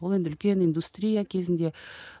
ол енді үлкен индустрия кезінде